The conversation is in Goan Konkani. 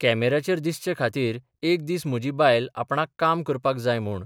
कॅमेऱ्याचेर दिसचे खातीर एक दीस म्हजी बायल आपणाक काम करपाक जाय म्हूण